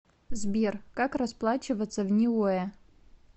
сбер как расплачиваться в ниуэ